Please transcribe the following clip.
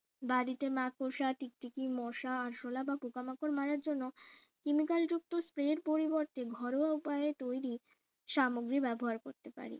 বাড়িতে মাকড়সা টিকটিকি মশা আরশোলা বা পোকামাকড় মারার জন্য chemical যুক্ত spray এর পরিবর্তে ঘরোয়া উপায়ে তৈরী সামগ্রী ব্যবহার করতে পারি